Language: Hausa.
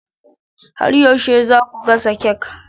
Har yaushe za ku gasa kek?